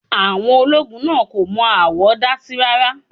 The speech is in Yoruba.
Àwọn ológun náà kò mọ aáwọ̀ dásí rá́rá.